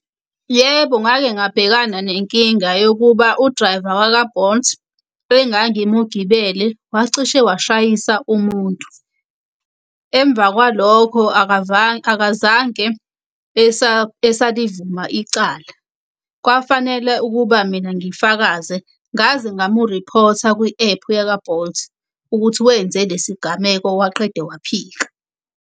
Yebo, ngake ngabhekana nenkinga yokuba u-driver waka-Bolt engangimugibele wacishe washayisa umuntu. Emva kwalokho akazange esalivuma icala. Kwafanele ukuba mina ngifakaze ngaze ngamuriphotha kwi-ephu yaka-Bolt, ukuthi wenze lesigameko waqeda waphika.